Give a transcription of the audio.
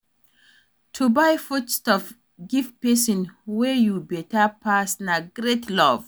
To buy foodstuff give pesin wey you beta pass na great love.